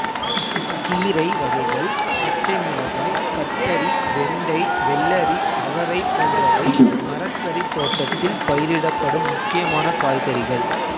கீரை வகைகள் பச்சைமிளகாய் கத்தரி வெண்டை வெள்ளரி அவரை போன்றவை மரக்கறி தோட்டத்தில் பயிரிடப்படும் முக்கியமான காய்கறிகள்